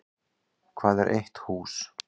Hvað er eitt hús?